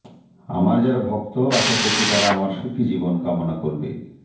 আমার যারা ভক্ত আশা করছি তারা আমার সুখি জীবন কামনা করবে